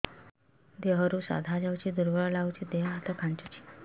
ଦେହରୁ ସାଧା ଯାଉଚି ଦୁର୍ବଳ ଲାଗୁଚି ଦେହ ହାତ ଖାନ୍ଚୁଚି